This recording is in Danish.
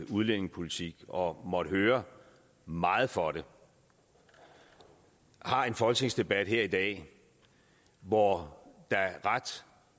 udlændingepolitik og måtte høre meget for det har en folketingsdebat her i dag hvor der ret